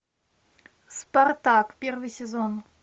спартак первый сезон